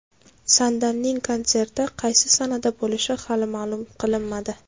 Sandalning konserti qaysi sanada bo‘lishi hali ma’lum qilinmadi.